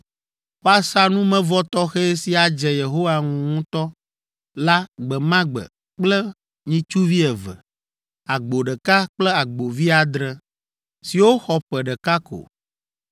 Woasa numevɔ tɔxɛ si adze Yehowa ŋu ŋutɔ la gbe ma gbe kple nyitsuvi eve, agbo ɖeka kple agbovi adre, siwo xɔ ƒe ɖeka ko.